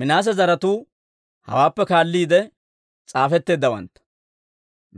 Minaase zaratuu hawaappe kaalliide s'aafetteeddawantta.